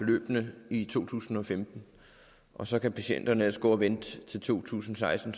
beløbene i to tusind og femten og så kan patienterne ellers gå og vente til to tusind og seksten